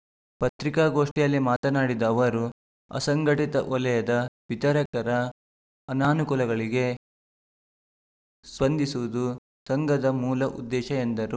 ಪತ್ರಿಕಾಗೋಷ್ಠಿಯಲ್ಲಿ ಮಾತನಾಡಿದ ಅವರು ಅಸಂಘಟಿತ ವಲಯದ ವಿತರಕರ ಅನಾನುಕೂಲಗಳಿಗೆ ಸ್ಪಂದಿಸುವುದು ಸಂಘದ ಮೂಲ ಉದ್ದೇಶ ಎಂದರು